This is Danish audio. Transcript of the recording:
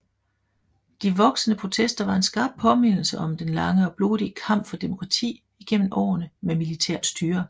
De voksende protester var en skarp påmindelse om den lange og blodige kamp for demokrati igennem årene med militært styre